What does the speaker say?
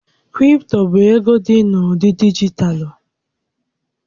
Kripto bụ ego dị n'ụdị dijitalụ.